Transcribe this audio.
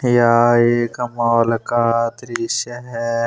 यह एक मॉल का दृश्य है।